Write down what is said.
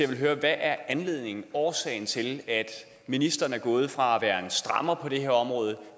vil høre hvad anledningen årsagen er til at ministeren er gået fra at være en strammer på det her område